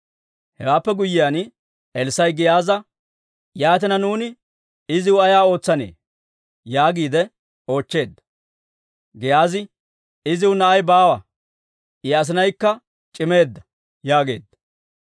Hewaappe guyyiyaan, Elssaa'i Giyaaza, «Yaatina nuuni iziw ay ootsanee?» yaagiide oochcheedda. Giyaazi, «Iziw na'i baawa; I asinaykka c'imeedda» yaageedda.